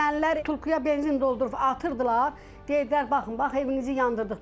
Ermənilər tulkıya benzin doldurub atırdılar, deyirdilər baxın, bax evinizi yandırdıq.